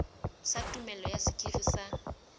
sa tumello ya sekiri sa